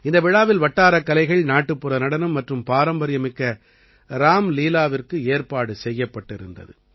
இந்த விழாவில் வட்டாரக் கலைகள் நாட்டுப்புற நடனம் மற்றும் பாரம்பரியமிக்க ராம்லீலாவிற்கு ஏற்பாடு செய்யப்பட்டிருந்தது